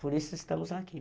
Por isso estamos aqui.